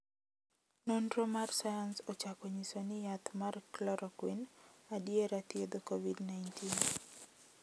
nonro mar sayans ochako nyiso ni yath mar chloroquine adiera thiedho Kovid 19.